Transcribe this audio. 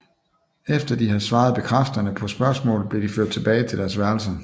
Efter de havde svaret bekræftende på spørgsmålet blev de ført tilbage til deres værelser